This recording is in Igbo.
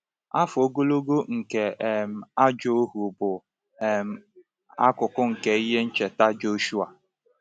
Afọ ogologo nke um ajọ ohu bụ um akụkụ nke ihe ncheta Joshua.